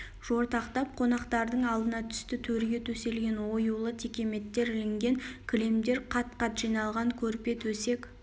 жортақтап қонақтардың алдына түсті төрге төселген оюлы текеметтер ілінген кілемдер қат-қат жиналған көрпе төсек